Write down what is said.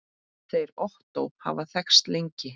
Þeir Ottó hafa þekkst lengi.